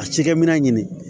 A cikɛminɛn ɲini